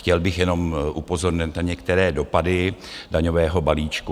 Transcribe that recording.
Chtěl bych jenom upozornit na některé dopady daňového balíčku.